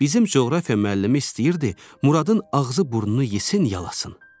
Bizim coğrafiya müəllimi istəyirdi Muradın ağzı, burnunu yesin, yalasın.